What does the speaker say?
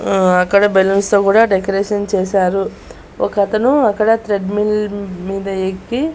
ఉమ్ అక్కడ బెలూన్స్ తో కూడా డెకరేషన్ చేశారు ఒక అతను అక్కడ థ్రెడ్ మిల్లు మీద ఎక్కి.